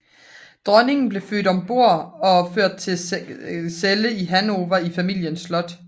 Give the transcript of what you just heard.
Dronningen blev ført ombord og blev ført til Celle i Hannover i familiens slot